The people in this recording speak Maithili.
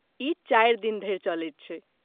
ई चारि दिन धरि चलैत छै।